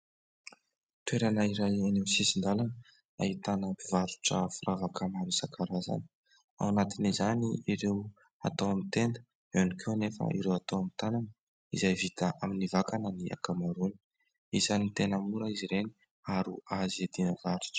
Toerana iray eo amin'ny sisin-dalana ahitana mpivarotra firavaka maro isan-karazany ao anatiny izany ireo atao amin'ny tenda eo ihany koa anefa ireo atao amin'ny tanana izay vita amin'ny vakana ny akamaroany. Isany tena mora izy ireny ary azo iadina varotra.